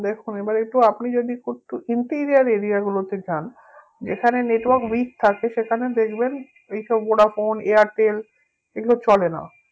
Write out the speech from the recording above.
দেখুন এবার একটু আপনি যদি imperior area গুলোতে যান যেখানে network weak থাকে সেখানে দেখবেন এইসব ভোডাফোন এয়ারটেল এগুলো চলে না